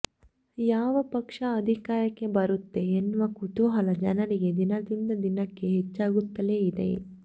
ಯಾವ ಪಕ್ಷ ಅಧಿಕಾರಕ್ಕೆ ಬರುತ್ತೆ ಎನ್ನುವ ಕುತೂಹಲ ಜನರಿಗೆ ದಿನದಿಂದ ದಿನಕ್ಕೆ ಹೆಚ್ಚಾಗುತ್ತಲೇ ಇದೆ